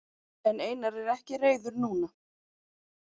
En Einar er ekki reiður núna.